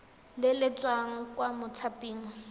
le le tswang kwa mothaping